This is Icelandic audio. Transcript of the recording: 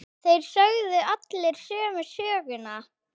Þeir sögðu allir sömu söguna.